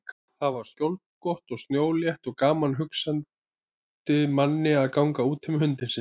Þar var skjólgott og snjólétt og gaman hugsandi manni að ganga úti með hundinn sinn.